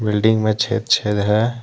Building में छेद छेद है।